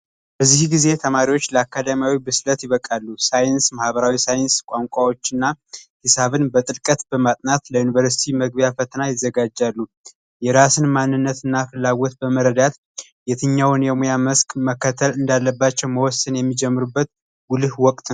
በዚህ ጊዜ ተማሪዎች ለአካዳሚያዊ ብስለት ይበቃሉ። ሳይንስ ፣ማህበራዊ ሳይንስ ፣ቋንቋዎች እና ሂሳብ በጥልቀት በማጥናት ለዩኒቨርስቲ መግቢያ ፈተና ይዘጋጃሉ። የራስን ማንነት እና ፍላጎት በመረዳት የትኛውን የሙያ መስክ መከተል እንዳለባቸው መወሰን የሚጀምሩት ጉልህ ወቅት ነው።